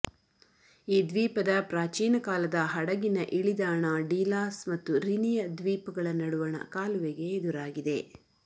ಈ ದ್ವೀಪದ ಪ್ರಾಚೀನ ಕಾಲದ ಹಡಗಿನ ಇಳಿದಾಣ ಡೀಲಾಸ್ ಮತ್ತು ರಿನಿಯ ದ್ವೀಪಗಳ ನಡುವಣ ಕಾಲುವೆಗೆ ಎದುರಾಗಿದೆ